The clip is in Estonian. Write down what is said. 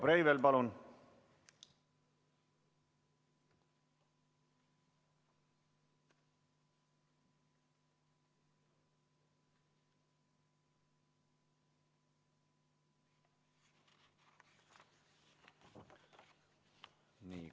Riho Breivel, palun!